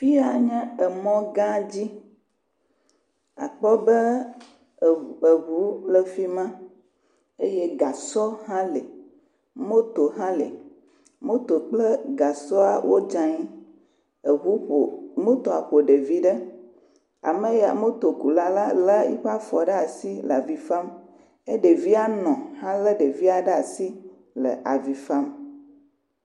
Fi ya nye emɔ gã dzi akpɔ be eŋ eŋu le fi ma eye gasɔ hã li. Moto hã li. Moto kple gasɔa wodze anyi. Eŋu ƒo. Motoa ƒo ɖevia ɖe. Ameya motokula la le yiƒe fɔ ɖe asi le avi fam. Ye ɖevia nɔ hã le ɖevia ɖe asi le avi fam.